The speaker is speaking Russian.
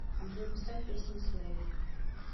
джой поставь песня слэйв